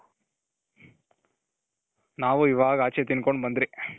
ನಾವು ಇವಾಗ ಆಚೆ ತಿನ್ಕೊಂಡು ಬಂದ್ರಿ